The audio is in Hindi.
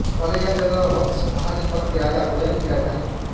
पहले यह जगह वत्स महाजनपद के राजा उदयन की राजधानी थी